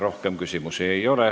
Rohkem küsimusi ei ole.